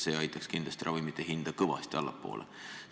See aitaks kindlasti ravimite hinda kõvasti allapoole viia.